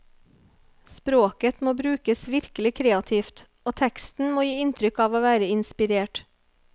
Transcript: Språket må brukes virkelig kreativt, og teksten må gi inntrykk av å være inspirert.